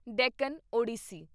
Deccan Odissi